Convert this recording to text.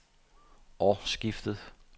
årsskiftet